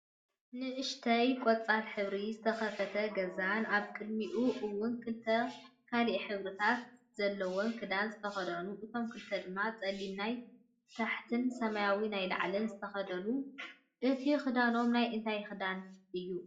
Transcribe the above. ንእሽተይ ቆፃል ሕብርን ዝተከፈተ ገዛን ኣብ ቅዲሚኡ እውን ክልተ ካልኢ ሕብርታት ዘለዎም ክዳን ዝተከደኑ እቶም ክልተ ድማ ፀሊም ናይ ታሕትን ሰማያዊ ናይ ላዕሊ ዝተከደኑ እቱይ ክዳኖም ናይ እንታይ ክዳን እዩ?